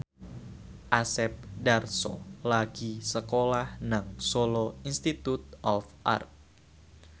Asep Darso lagi sekolah nang Solo Institute of Art